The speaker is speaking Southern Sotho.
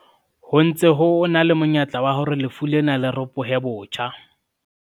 Ho ntse ho na le monyetla wa hore lefu lena le ropohe botjha.